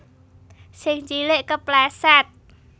Sing cilik kepleset